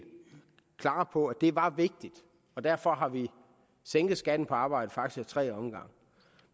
klar på at det var vigtigt og derfor har vi sænket skatten på arbejde faktisk ad tre omgange